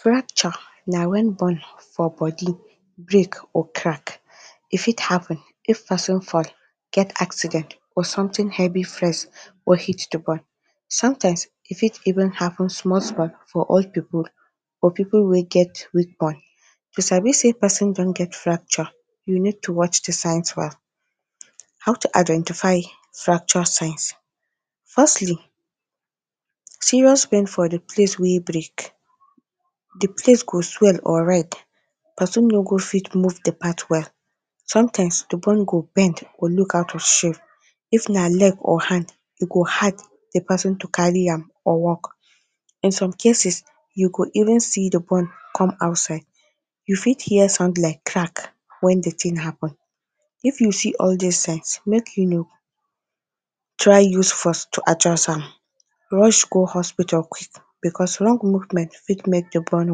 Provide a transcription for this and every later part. Fracture na when bone for body break or crack. E fit happen if person fall, get accident or something heavy flex or hit the bone. Sometimes e fit even happen small small for old people or people wey get weak bone. You sabi sey person don get fracture, you need to watch the signs well. How to identify fracture signs: Firstly, serious pain for the place wey break. The place go swell or red. Person no go fit move the part well. Sometimes the bone go bend or look out of shape. If na leg or hand, e go hard the person to carry am or walk. In some cases, you go even see the bone come outside. You fit hear sound like crack when the thing happen. If you see all these signs, make you no try use force to adjust am. Rush go hospital quick because wrong movement fit make the bone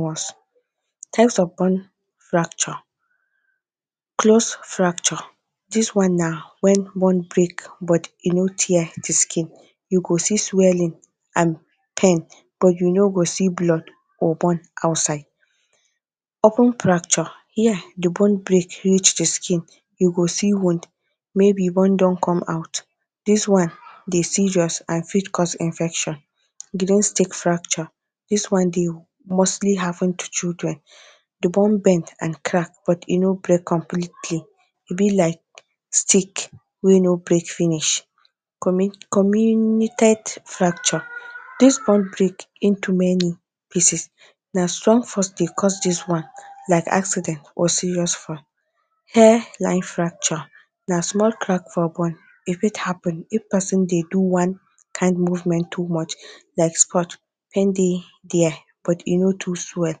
worse. Types of bone fracture: Close fracture: This one na when bone break but e no tear the skin. You go see swelling and pain but you no go see blood or bone outside. Open fracture: Here, the bone break reach the skin. You go see wound. Maybe bone don come out. This one dey serious and fit cause infection. Greenstick fracture: This one dey mostly happen to children. The bone bend and crack but e no break completely. E be like stick wey no break finish. Comminuted fracture: This one break into many pieces. Na strong force dey cause this one like accident or serious fall. Hairline fracture: Na small crack for bone. E fit happen if person dey do one kind movement too much, like squat. Pain dey there but e no too swell.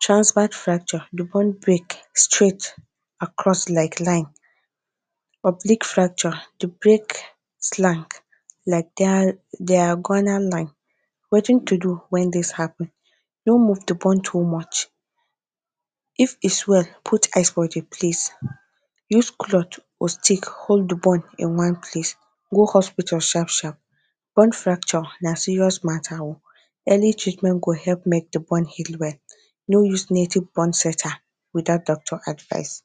Transverse fracture: The bone break straight across like line. Oblique fracture: The break slant like diagonal line. Wetin to do when this happen: No move the bone too much. If e swell, put ice for the place, use cloth or stick hold the bone in one place, go hospital sharp sharp. Bone fracture na serious matter o. Early treatment go help make the bone heal well. No use native bone straighter without doctor advice.